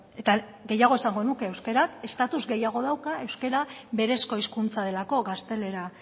eta gehiago esango nuke euskarak estatuz gehiago dauka euskara berezko hizkuntza delako gaztelera